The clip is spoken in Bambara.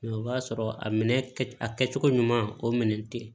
o b'a sɔrɔ a minɛ a kɛcogo ɲuman o minɛ tɛ